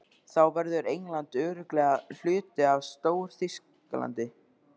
Þá verður England örugglega hluti af Stór-Þýskalandi.